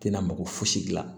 Tɛna mako fosi gilan